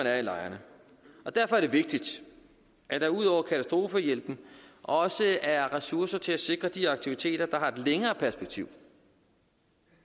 er i lejrene og derfor er det vigtigt at der ud over katastrofehjælpen også er ressourcer til at sikre de aktiviteter der har et længere perspektiv